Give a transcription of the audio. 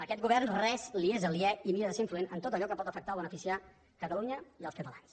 a aquest govern res li és aliè i mira de ser influent en tot allò que pot afectar o beneficiar catalunya i els catalans